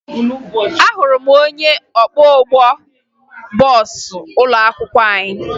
Ahụrụ m onye ọkwọụgbọ bọọsụ ụlọakwụkwọ anyị